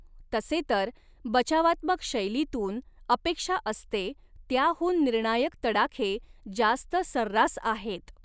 तसे तर, बचावात्मक शैलीतून अपेक्षा असते त्याहून निर्णायक तडाखे जास्त सर्रास आहेत.